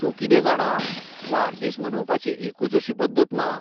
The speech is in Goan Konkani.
तूं कितें जाणां, वाडदीस मनोवपाची एकूच अशी पद्दत ना.